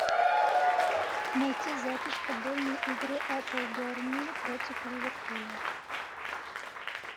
найти запись футбольной игры апл бернли против ливерпуля